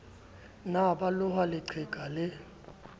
ne ba loha leqheka lee